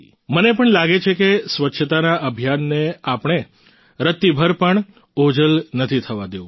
મને પણ લાગે છે કે સ્વચ્છતા ના અભિયાનને આપણે રત્તીભર પણ ઓઝલ નથી થવા દેવું